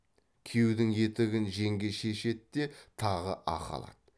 күйеудің етігін жеңге шешеді де тағы ақы алады